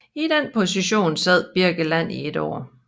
I den position sad Birkeland i et år